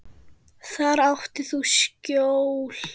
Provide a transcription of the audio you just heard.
Þar áttir þú skjól.